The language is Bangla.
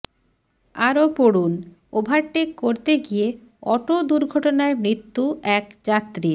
আরও পড়ুন ওভারটেক করতে গিয়ে অটো দুর্ঘটনায় মৃত্যু এক যাত্রীর